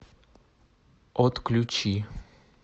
отключи